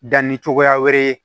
Danni cogoya wɛrɛ ye